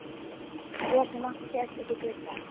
Og Gosi mátti þjást uppí glugga.